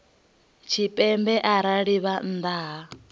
tshipembe arali vha nnḓa ha